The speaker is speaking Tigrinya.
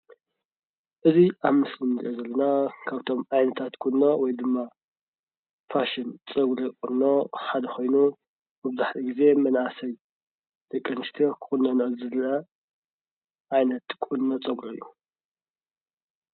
እዚ ኣብ ምስሊ ንሪኦ ዘለና ካብቶም ዓይነታት ቁኖ ወይ ድማ ፋሽን ፀጉሪ ቁኖ ሓደ ኮይኑ መብዛሕትኡ ግዜ መናእሰይ ደቂ ኣንስትዮ ክቊነንኦ ዝረኣያ ዓይነት ቁኖ ፀጉሪ እዩ፡፡